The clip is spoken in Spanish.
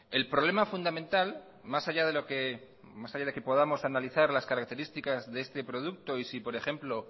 el problema fundamental más allá de que podamos analizar las características de este producto y si por ejemplo